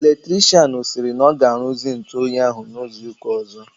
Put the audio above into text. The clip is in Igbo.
Electrichịanụ sịrị na ọ ga-aruzi ntụ oyi ahụ n'izu ụka ọzọ.